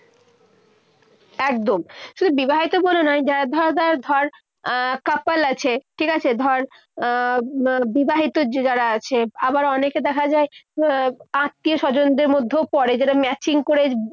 একদম। শুধু বিবাহিত বলে নয়, যারা ধর ধর ধর আহ couple আছে, ঠিক আছে। ধর, আহ বিবাহিত য~যারা আছে। আবার অনেকে দেখা যায় আত্মীয় স্বজনদের মধ্যেও পড়ে। যেটা maching করে